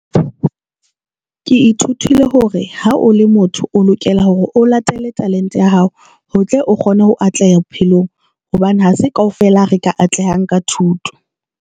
Ke ithutile hore ha o le motho o lokela hore o latele talente ya hao, ho tle o kgone ho atleha bophelong hobane ha se kaofela re ka atlehang ka thuto.